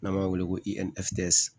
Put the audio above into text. N'an b'a wele ko